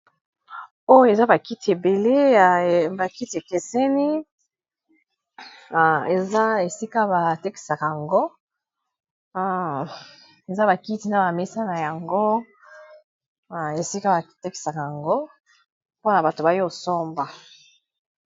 oyo eza bakiti ebele ya bakiti ekeseni eeza bakiti na bamesa na yango esika batekisaka yango mpona bato bayo osomba